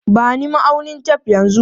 Ba ni ma'aunin tef yanzu!